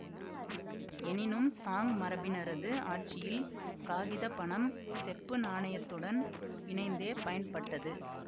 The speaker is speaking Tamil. எனினும் சாங் மரபினரது ஆட்சியில் காகித பணம் செப்பு நாணயத்துடன் இணைந்தே பயன்பட்டது